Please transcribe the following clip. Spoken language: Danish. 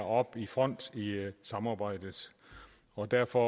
op i front i samarbejdet og derfor